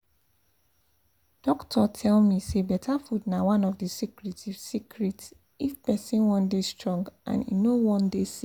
doctor tell me say better food na one of the secret if secret if person wan dey strong and e no wan dey sick